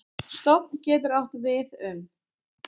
Stofn getur átt við um